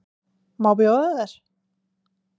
Má bjóða þér?